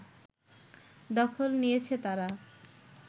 দখল নিয়েছে তারা